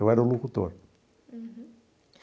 Eu era o locutor. Uhum.